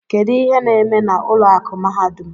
Kedu ihe na-eme na ụlọ akụ mahadum?